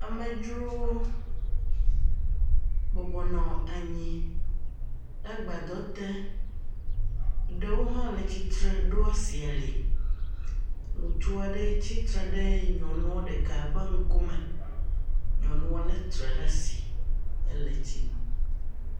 Amedzrowo bɔbɔ nɔ anyi ɖe agbaɖɔ te. Eɖewo hã le tsitre ɖo asi ali. Ŋutsua ɖe tsitre ɖe nyɔnua ɖeka ƒe ŋkume, nyɔnua le tre ɖe asi.